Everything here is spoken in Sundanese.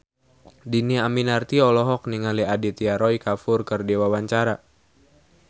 Dhini Aminarti olohok ningali Aditya Roy Kapoor keur diwawancara